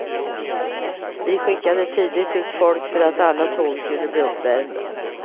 Vi skickade tidigt ut folk för att alla tåg skulle bli uppvärmda.